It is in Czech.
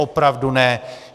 Opravdu ne.